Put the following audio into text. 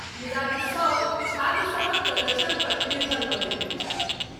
मुदा ई सब छात्रसभक प्रदर्शनपर निर्भर करैत अछि।